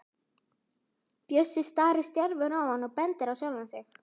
Bjössi starir stjarfur á hann og bendir á sjálfan sig.